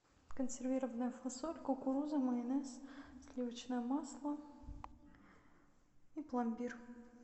консервированная фасоль кукуруза майонез сливочное масло и пломбир